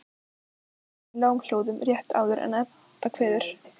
spyr hún í lágum hljóðum rétt áður en Edda kveður.